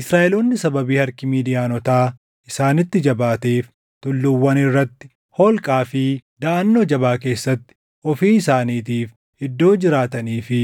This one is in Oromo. Israaʼeloonni sababii harki Midiyaanotaa isaanitti jabaateef tulluuwwan irratti, holqaa fi daʼannoo jabaa keessatti ofii isaaniitiif iddoo jiraatanii fi